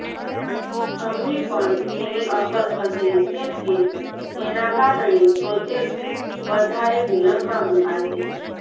અમને પણ તેની અસર થશે કેમ કે તેના કારણે પ્રોજેક્ટ્સ વધારે વિલંબમાં મુકાશે